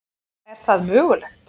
Er það mögulegt?